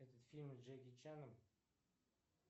это фильм с джеки чаном